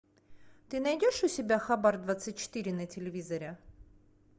ты найдешь у себя хабар двадцать четыре на телевизоре